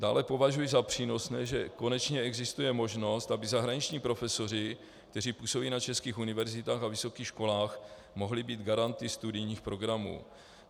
Dále považuji za přínosné, že konečně existuje možnost, aby zahraniční profesoři, kteří působí na českých univerzitách a vysokých školách, mohli být garanty studijních programů.